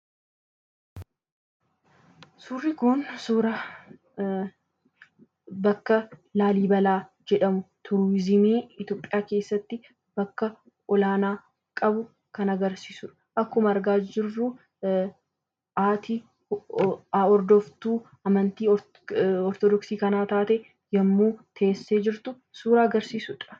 Suurri Kun Laallibalaa yoo jedhamu turizimii Itoophiyaa keessatti bakka olaanaa kan qabudha. As irratti dubartiin hordoftuu amantaa kiristiyaana ortoodoxii teessee yoo jirtu agarsiisa.